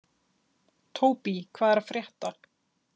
Tóbý, hvað er að frétta?